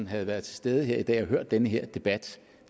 havde været til stede her i dag og hørt den her debat